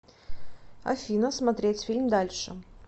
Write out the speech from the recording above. афина смотреть фильм дальше